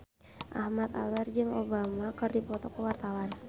Ahmad Albar jeung Obama keur dipoto ku wartawan